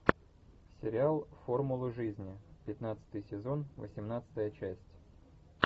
сериал формулы жизни пятнадцатый сезон восемнадцатая часть